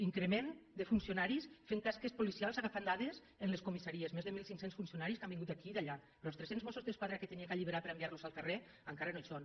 increment de funcionaris fent tasques policials agafant dades en les comissaries més de mil cinc cents funcionaris que han vingut d’aquí i d’allà però els tres·cents mossos d’esquadra que havia d’alliberar per enviar·los al carrer encara no hi són